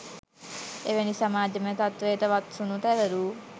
එවැනි සමාජමය තත්ත්වයකට වත්සුණු තැවරූ